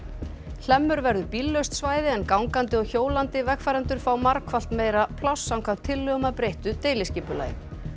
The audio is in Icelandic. hlemmur verður bíllaust svæði en gangandi og hjólandi vegfarendur fá margfalt meira pláss samkvæmt tillögum að breyttu deiliskipulagi